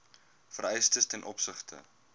vereistes ten opsigte